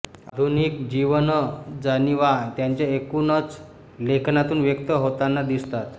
आधुनिक जीवनजाणिवा त्यांच्या एकूणच लेखनातून व्यक्त होताना दिसतात